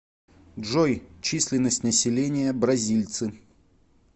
джой численность населения бразильцы